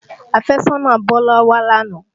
Àfẹ́sọ́nà Bọ́lá wá lánàá